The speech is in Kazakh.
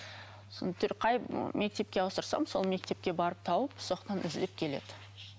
қай мектепке ауыстырсам сол мектепке барып тауып сол жақтан іздеп келеді